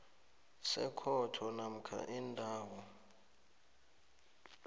sekhotho namkha indawo